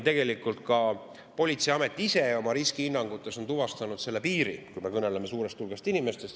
Tegelikult on politseiamet oma riskihinnangutes tuvastanud selle piiri, kui me kõneleme suurest hulgast inimestest.